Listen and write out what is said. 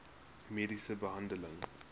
mediese behandeling